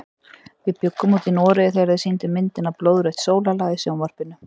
Við bjuggum úti í Noregi þegar þeir sýndu myndina Blóðrautt sólarlag í sjónvarpinu.